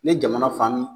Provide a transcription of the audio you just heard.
Ne jamana faaman